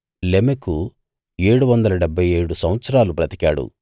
లెమెకు ఏడువందల డెబ్భై ఏడు సంవత్సరాలు బ్రతికాడు